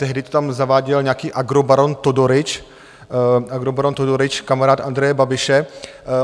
Tehdy to tam zaváděl nějaký agrobaron Todorić, agrobaron Todorić, kamarád Andreje Babiše.